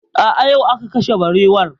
A'a, yau aka kashe barewar